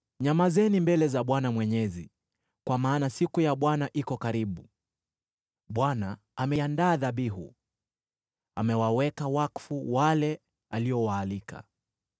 Nyamazeni mbele za Bwana Mwenyezi, kwa maana siku ya Bwana iko karibu. Bwana ameandaa dhabihu, amewaweka wakfu wale aliowaalika.